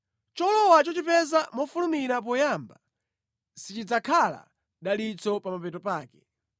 Cholowa chochipeza mofulumira poyamba, sichidzakhala dalitso pa mapeto pake.